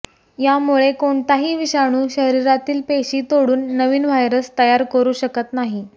यामुळे कोणताही विषाणू शरीरातील पेशी तोडून नवीन व्हायरस तयार करू शकत नाही